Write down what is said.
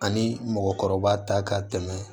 Ani mɔgɔkɔrɔba ta ka tɛmɛ